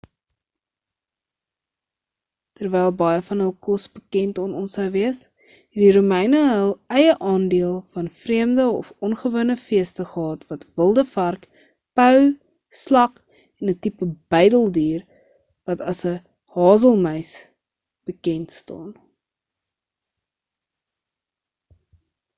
terwyl baie van hul kos bekend aan ons sou wees het die romeine hul eie aandeel van vreemde of ongewone feeste gehad wat wilde vark pou slak en 'n tipe buideldier wat as 'n hazelmuis bekend staan